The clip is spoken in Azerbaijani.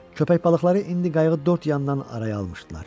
Köpək balıqları indi qayğı dörd yandan araya almışdılar.